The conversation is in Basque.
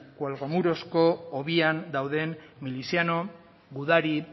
cuelgamurosko hobian dauden miliziano gudari